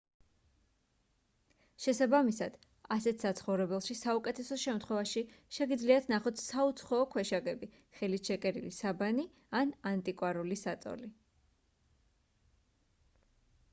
შესაბამისად ასეთ საცხოვრებელში საუკეთესო შემთხვევაში შეგიძლიათ ნახოთ საუცხოო ქვეშაგები ხელით შეკერილი საბანი ან ანტიკვარული საწოლი